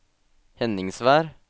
Henningsvær